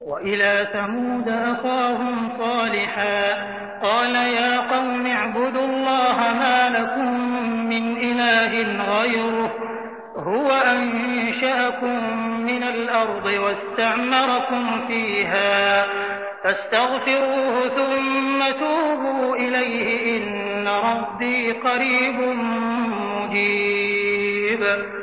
۞ وَإِلَىٰ ثَمُودَ أَخَاهُمْ صَالِحًا ۚ قَالَ يَا قَوْمِ اعْبُدُوا اللَّهَ مَا لَكُم مِّنْ إِلَٰهٍ غَيْرُهُ ۖ هُوَ أَنشَأَكُم مِّنَ الْأَرْضِ وَاسْتَعْمَرَكُمْ فِيهَا فَاسْتَغْفِرُوهُ ثُمَّ تُوبُوا إِلَيْهِ ۚ إِنَّ رَبِّي قَرِيبٌ مُّجِيبٌ